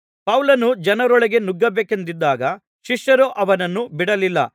ಪೌಲನು ಜನರೊಳಗೆ ನುಗ್ಗಬೇಕೆಂದಿದ್ದಾಗ ಶಿಷ್ಯರು ಅವನನ್ನು ಬಿಡಲಿಲ್ಲ